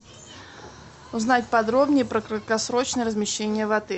узнать подробнее про краткосрочное размещение в отеле